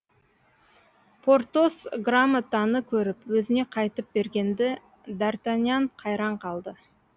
портос грамотаны көріп өзіне қайтып бергенде д артаньян қайран қалды